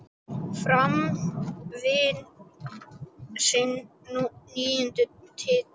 Fram vann sinn níunda titil.